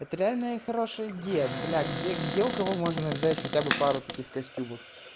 это реальная и хорошая идея бля где где у кого можно взять хотя бы пару таких костюмов